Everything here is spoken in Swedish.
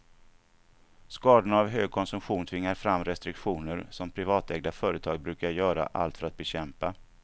Skadorna av hög konsumtion tvingar fram restriktioner, som privatägda företag brukar göra allt för att bekämpa.